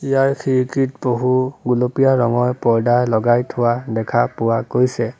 ইয়াৰ খিৰিকীত বহু গুলপীয়া ৰঙৰ পৰ্দা লগাই থোৱা দেখা পোৱা গৈছে।